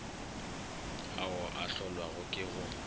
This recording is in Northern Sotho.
ao a hlolwago ke go